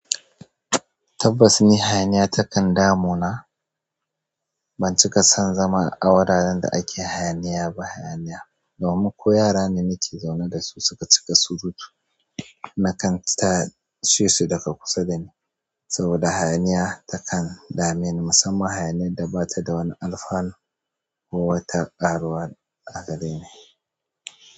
Tabbas, ni hayaniya takan damu na. Ban cika son zama a wuraren da ake hayaniya ba. Hayaniya domin ko yara ne nake zaune dasu suka cika surutu, na kan tashe su daga kusa dani saboda hayaniya takan dame ni. Musamman hayaniyar da bata da wani alfanu ko wata karuwar a gare ni.